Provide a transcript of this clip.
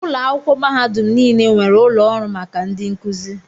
Ụlọ akwụkwọ mahadum niile nwere ụlọ ọrụ maka ndị nkuzi.